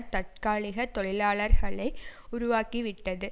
தற்காலிக தொழிலாளர்களை உருவாக்கி விட்டது